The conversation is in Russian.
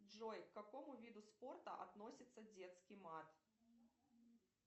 джой к какому виду спорта относится детский мат